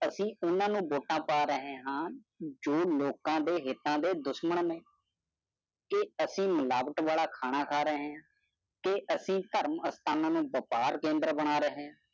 ਅਸੀਂ ਓਹਨਾ ਨੂੰ ਵੋਟਾਂ ਪਾ ਰਹੇ ਹਾਂ ਜੋ ਲੋਕ ਦੇ ਹਿਤਾ ਦੇ ਦੁਸ਼ਮਣ ਨੇ। ਤੇ ਐਸੀ ਵਾਲਾ ਖਾਣਾ ਖਾ ਰਹੇ ਹਨ। ਕੇ ਐਸੀ ਧਰਮ ਸਥਾਨਾਂ ਨੂੰ ਵਯਿਪਾਰ ਕੇਂਦ੍ਰ ਬਣਾ ਰਹੇ ਹਨ।